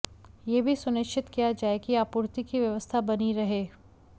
यह भी सुनिश्चित किया जाए कि आपूर्ति की व्यवस्था बनी रहे